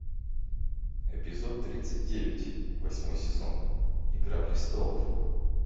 эпизод тридцать девять восьмой сезон игра престолов